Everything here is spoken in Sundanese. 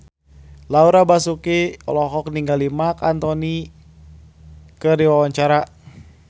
Laura Basuki olohok ningali Marc Anthony keur diwawancara